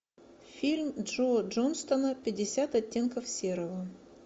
фильм джо джонстона пятьдесят оттенков серого